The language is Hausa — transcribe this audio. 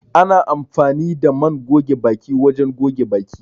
Ana amfani da man goge baki wajen goge baki